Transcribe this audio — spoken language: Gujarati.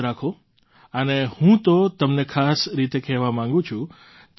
યાદ રાખો અને હું તો તમને ખાસ રીતે કહેવા માગું છું